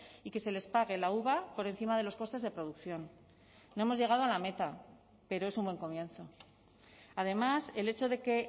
y que se les pague la uva por encima de los costes de producción no hemos llegado a la meta pero es un buen comienzo además el hecho de que